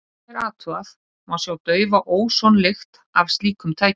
Ef vel er athugað, má finna daufa ósonlykt af slíkum tækjum.